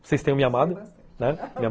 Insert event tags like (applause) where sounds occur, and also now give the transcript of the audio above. Vocês tenham me amado, né, (laughs)